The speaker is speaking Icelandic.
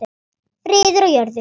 Friður á jörðu.